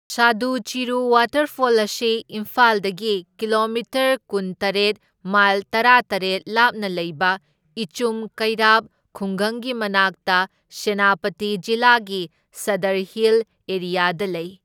ꯁꯥꯗꯨ Chiru waterfall ꯑꯁꯤ ꯏꯝꯐꯥꯜꯗꯒꯤ kilometre ꯀꯨꯟꯇꯔꯦꯠ ꯃꯥꯏꯜ ꯇꯔꯥꯇꯔꯦꯠ ꯂꯥꯞꯅ ꯂꯩꯕ ꯏꯆꯨꯝ ꯀꯩꯔꯥꯞ ꯈꯨꯡꯒꯪꯒꯤ ꯃꯅꯥꯛꯇ, ꯁꯦꯅꯥꯄꯇꯤ ꯖꯤꯂꯥꯒꯤ ꯁꯗꯔ ꯍꯤꯜ ꯑꯦꯔꯤꯌꯥꯗ ꯂꯩ꯫